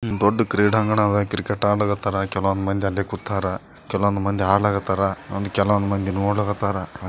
ಹೂ ಇದು ಒಂದ್ ದೊಡ್ಡ್ ಕ್ರೀಡಾಂಗಣ ಅದಾ ಕ್ರಿಕೆಟ್ ಅಡ್ಲತಾರ್ ಕೆಲವೊಂದು ಮಂದಿ ಅಲ್ಲೆ ಕೂತರ ಕೆಲವೊಂದು ಮಂದಿ ಆಡಲಕತರ ಕೆಲವೊಂದು ನೋಡಲ್ತಾರ್.